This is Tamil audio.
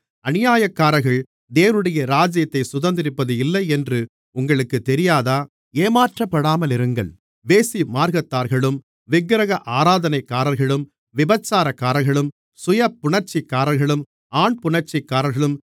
அநியாயக்காரர்கள் தேவனுடைய ராஜ்யத்தைச் சுதந்தரிப்பதில்லை என்று உங்களுக்குத் தெரியாதா ஏமாற்றப்படாமலிருங்கள் வேசிமார்க்கத்தார்களும் விக்கிரக ஆராதனைக்காரர்களும் விபசாரக்காரர்களும் சுயபுணர்ச்சிக்காரர்களும் ஆண்புணர்ச்சிக்காரர்களும்